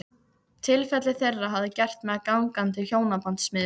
Tilfelli þeirra hafði gert mig að gangandi hjónabandsmiðlun.